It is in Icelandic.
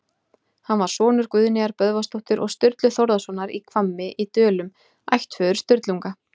Hann var sonur Guðnýjar Böðvarsdóttur og Sturlu Þórðarsonar í Hvammi í Dölum, ættföður Sturlunga.